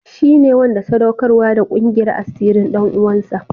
Shi ne wanda sadaukarwa da ƙungiyar asirin ɗan uwansa?